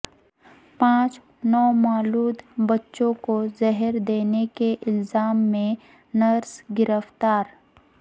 پانچ نومولود بچوں کو زہر دینے کے الزام میں نرس گرفتار